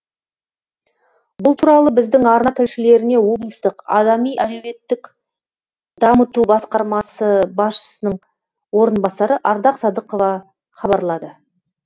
бұл туралы біздің арна тілшілеріне облыстық адами әлеуметтік дамыту басқармасы басшысының орынбасары ардақ садықова хабарлады